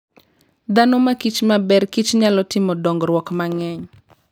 Dhano makich maber Kich nyalo timo dongruok mang'eny.